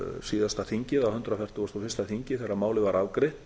síðasta þingi hundrað fertugasta og fyrsta þingi þegar málið var afgreitt